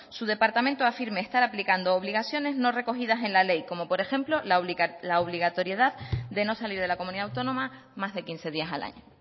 su departamento afirme estar aplicando obligaciones no recogidas en la ley como por ejemplo la obligatoriedad de no salir de la comunidad autónoma más de quince días al año